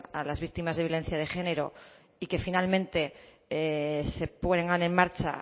a las víctimas de violencia de género y que finalmente se pongan en marcha